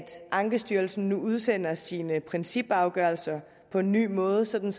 ankestyrelsen nu udsender sine principafgørelser på en ny måde sådan